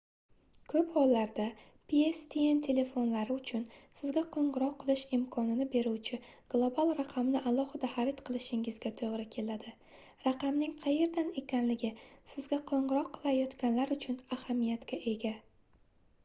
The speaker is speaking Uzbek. koʻp hollarda pstn telefonlari uchun sizga qoʻngʻiroq qilish imkonini beruvchi global raqamni alohida xarid qilishingizga toʻgʻri keladi raqamning qayerdan ekanligi sizga qoʻngʻiroq qilayotganlar uchun ahamiyatga ega